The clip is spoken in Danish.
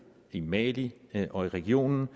i mali og i regionen